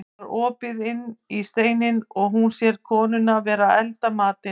Það var opið inn í steininn og hún sér konuna vera að elda matinn.